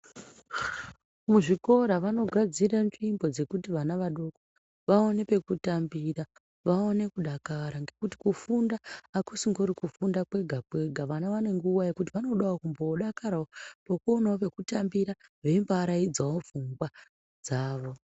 Muzvikora vanogadzira nzvimbo dzekuti vana vadoko vaone pekutambira vaone kudakara. Ngekuti kufunda hakusingori kufunda kwega-kwega vana nguva yekuti vanombodavo kumbodakaravo veionavo pekutambira veimbo araidzavo bvunga dzavo.